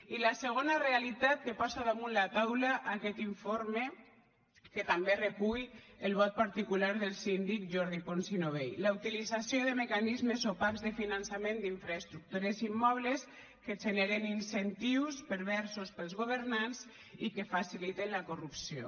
i la segona realitat que posa damunt la taula aquest informe que també recull el vot particular del síndic jordi pons i novell la utilització de mecanismes opacs de finançament d’infraestructures immobles que generen incentius perversos per als governants i que faciliten la corrupció